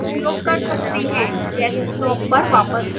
desktop पर वापस जाएं